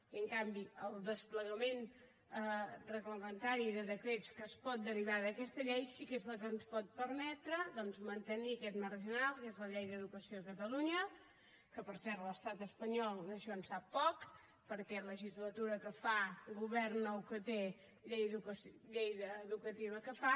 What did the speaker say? i en canvi el desplegament reglamentari de decrets que es pot derivar d’aquesta llei sí que és el que ens pot permetre doncs mantenir aquest marc general que és la llei d’educació de catalunya que per cert l’estat espanyol d’això en sap poc perquè legislatura que fa govern nou que té llei educativa que fa